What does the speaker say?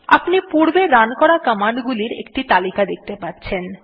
আপনি পূর্বে রান করা কমান্ডগুলির একটি তালিকা দেখতে পাচ্ছেন